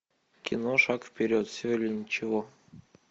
кино шаг вперед все или ничего